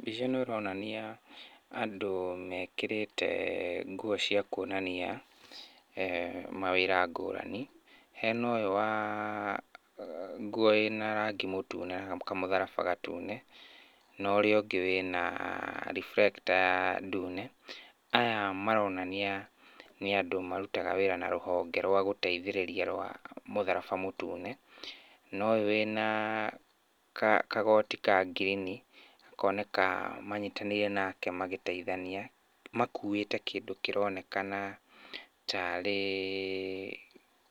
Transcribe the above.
Mbica ĩno ĩronania andũ mekĩrĩte nguo cia kuonania eeh mawĩra ngũrani. Hena ũyũ wa nguo ĩna rangi mũtune na kamũtharaba gatune, na ũrĩa ũngĩ wĩna reflector ndune. Aya maronania nĩ andũ marutaga wĩra na rũhonge rwa gũteithĩrĩria rwa mũtharaba mũtune. Na ũyũ wĩna kagoti ka ngirini akoneka manyitanĩire nake magĩteithania. Makuĩte kĩndũ kĩronekana tarĩ